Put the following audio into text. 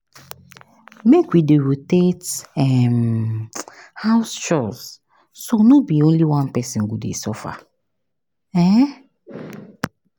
Make we dey rotate um house chores, so no be only one person go dey suffer. um